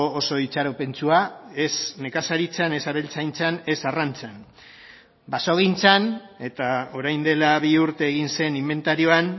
oso itxaropentsua ez nekazaritzan ez abeltzaintzan ez arrantzan basogintzan eta orain de la bi urte egin zen inbentarioan